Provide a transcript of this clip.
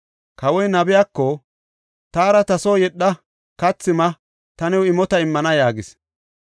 Kawoy nabiyako, “Taara ta soo yedha; kathi ma; ta new imota immana” yaagis.